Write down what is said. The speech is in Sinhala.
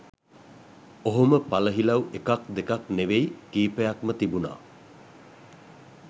ඔහොම පලහිලව් එකක් දෙකක් නෙවයි කීපයක්ම තිබුනා.